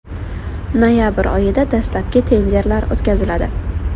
Noyabr oyida dastlabki tenderlar o‘tkaziladi.